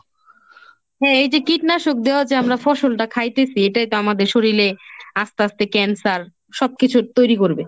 হ্যাঁ এই যে কীটনাশক দেওয়া যে আমরা ফসলটা খাইতেছি এটাই তো আমাদের শরীলে আস্তে আস্তে ক্যান্সার সবকিছুর তৈরি করবে।